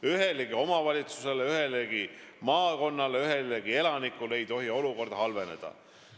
Ühegi omavalitsuse, ühegi maakonna, ühegi elaniku jaoks ei tohi olukord halveneda.